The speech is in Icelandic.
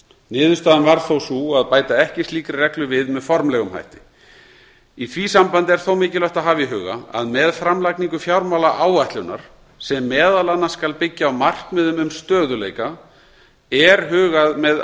niðurstaðan varð þó sú að bæta ekki slíkri reglu við með formlegum hætti í því sambandi er þó mikilvægt að hafa í huga að með framlagningu fjármálaáætlunar sem meðal annars skal byggja á markmiðum um stöðugleika er hugað með